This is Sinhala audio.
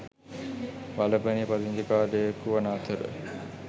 වලපනේ පදිංචිකාරයකු වන අතර